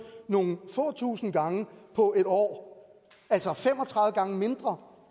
nogle få tusinde gange på en år altså fem og tredive gange mindre